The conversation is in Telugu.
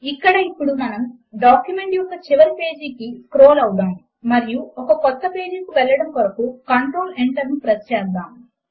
ఇక్కడ ఇప్పుడు మనము డాక్యుమెంట్ యొక్క చివరి పేజీకు స్క్రోల్ అవుదాము మరియు ఒక క్రొత్త పేజీ కు వెళ్లడము కొరకు కంట్రోల్ Enter ను ప్రెస్ చేద్దాము